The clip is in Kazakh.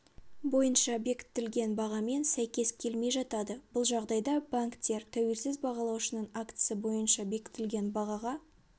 бойынша бекітілген бағамен сәйкес келмей жатады бұл жағдайда банктер тәуелсіз бағалаушының актісі бойынша бекітілген бағаға